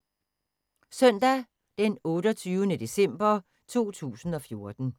Søndag d. 28. december 2014